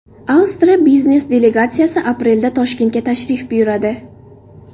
Avstriya biznes delegatsiyasi aprelda Toshkentga tashrif buyuradi.